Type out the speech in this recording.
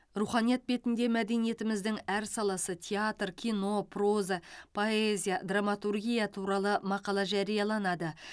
руханият бетінде мәдениетіміздің әр саласы театр кино проза поэзия драматургия туралы мақала жарияланады